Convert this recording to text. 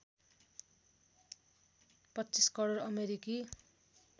२५ करोड अमेरिकी